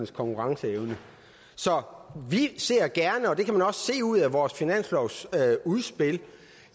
konkurrenceevne så vi ser gerne og det kan man også se ud af vores finanslovsudspil